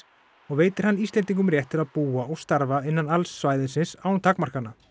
og veitir hann Íslendingum rétt til að búa og starfa innan alls svæðisins án takmarkana